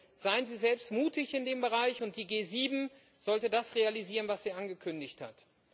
Also seien Sie selbst mutig in dem Bereich, und die G7 sollte das realisieren, was sie angekündigt hat.